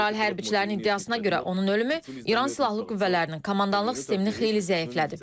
İsrail hərbçilərinin iddiasına görə onun ölümü İran Silahlı Qüvvələrinin komandanlıq sistemini xeyli zəiflədib.